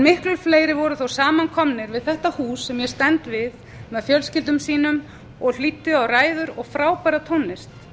miklu fleiri voru þó samankomnir við þetta hús sem ég ég stend við með fjölskyldum sínum og hlýddu á ræður og frábæra tónlist